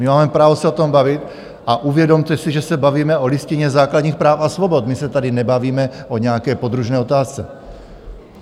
My máme právo se o tom bavit a uvědomte si, že se bavíme o Listině základních práv a svobod, my se tady nebavíme o nějaké podružné otázce.